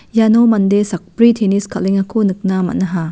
iano mande sakbri tenis kal·engako nikna man·aha.